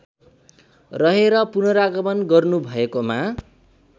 रहेर पुनरागमन गर्नुभएकोमा